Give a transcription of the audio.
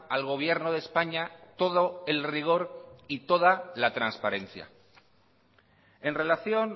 al gobierno de españa todo el rigor y toda la transparencia en relación